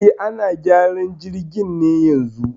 E, ana gyaran jirgin ne yanzun